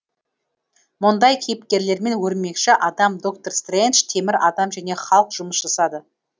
мұндай кейіпкерлермен өрмекші адам доктор стрэндж темір адам және халк жұмыс жасады